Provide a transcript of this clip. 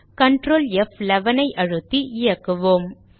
Ctrl ப்11 அழுத்தி இயக்குவோம்